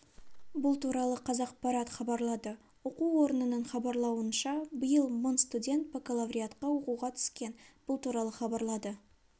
бұл туралы қазақпарат хабарлады оқу орнының хабарлауынша биыл мың студент бакалавриатқа оқуға түскен бұл туралы хабарлады